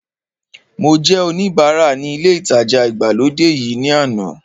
Mo jẹ́ oníbara ní ilé ìtajà ìgbàlódé yìí ní àná